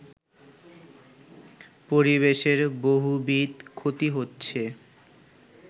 পরিবেশের বহুবিধ ক্ষতি হচ্ছে